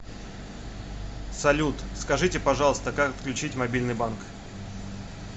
салют скажите пожалуйста как отключить мобильный банк